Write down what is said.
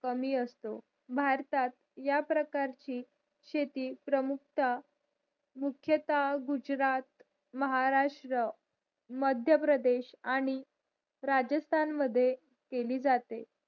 कमी असतो भारतात या प्रकारची शेती प्रमुख ता मुख्यता गुजरात महाराष्ट्र मध्य प्रदेश आणि राजस्थान मद्ये केली जाते